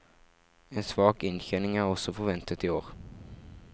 En svak inntjening er også forventet i år.